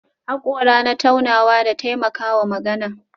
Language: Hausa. Hakora na taunawa da taimakawa magana